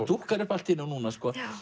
dúkkar upp allt í einu núna